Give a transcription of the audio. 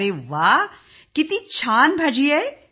अरे वा किती छान भाजी होती